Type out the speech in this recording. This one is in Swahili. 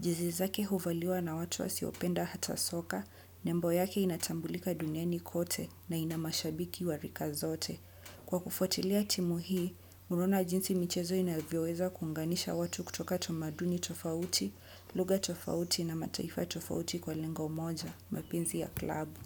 Jezi zake huvaliwa na watu wa siopenda hata soka, nembo yake inatambulika duniani kote na ina mashabiki wa rika zote. Kwa kufuatilia timu hii, unaona jinsi michezo inavyoweza kuunganisha watu kutoka tamaduni tofauti, lugha tofauti na mataifa tofauti kwa lengo moja, mapinzi ya klabu.